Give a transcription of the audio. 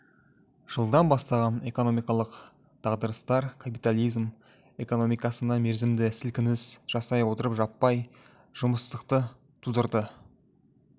жылдан басталған экономикалық дағдарыстар капитализм экономикасына мерзімді сілкініс жасай отырып жаппай жұмыссыздықты тудырды